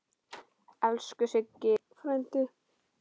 Elsku Siggi frændi.